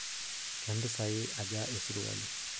kempisai aja esirwali